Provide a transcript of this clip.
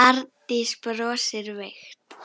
Arndís brosir veikt.